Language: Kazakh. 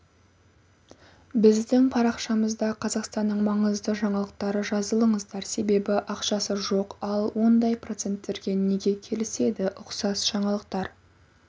біздің парақшамызда қазақстанның маңызды жаңалықтары жазылыңыздар себебі ақшасы жоқ ал ондай проценттерге неге келіседі ұқсас жаңалықтар